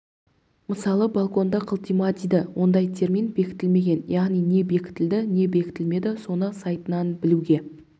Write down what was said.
мысалы болконды қылтима дейді ондай термин бекітілмеген яғни не бекітілді не бекітілмеді соны сайтынан білуге